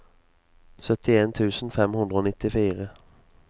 syttien tusen fem hundre og nittifire